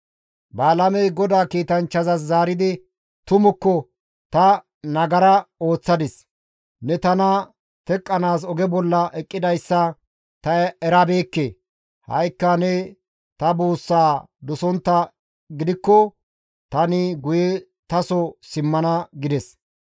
Balaamey GODAA kiitanchchaas zaaridi, «Tumukka ta nagara ooththadis; ne tana teqqanaas oge bolla eqqidayssa ta erabeekke; ha7ikka ne ta buussaa dosonttaa gidikko tani guye taso simmana» gides.